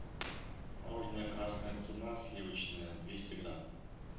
мороженое красная цена сливочное двести грамм